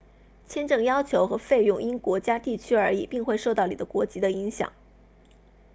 签证要求和费用因国家地区而异并会受到你的国籍的影响